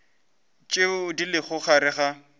tše di lego gare ga